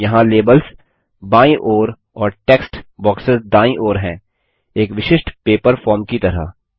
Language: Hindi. यहाँ लेबल्स बायीं ओर और टेक्स्ट बॉक्सेस दायीं ओर हैं एक विशिष्ट पेपर फॉर्म की तरह